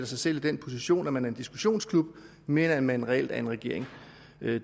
sig selv i den position at man er en diskussionsklub mere end man reelt er en regering